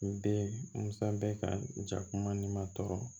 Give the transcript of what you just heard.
N den masa bɛ ka ja kuma ni ma tɔɔrɔ